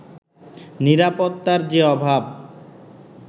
নিরাপত্তার যে অভাব